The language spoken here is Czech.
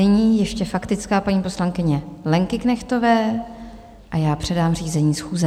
Nyní ještě faktická paní poslankyně Lenky Knechtové a já předám řízení schůze.